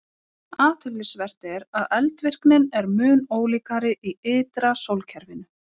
Athyglisvert er að eldvirknin er mun ólíkari í ytra sólkerfinu.